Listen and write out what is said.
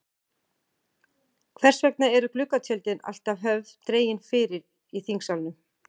Hvers vegna eru gluggatjöldin alltaf höfð dregin fyrir í þingsalnum?